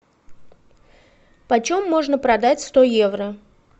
почем можно продать сто евро